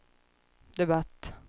debatt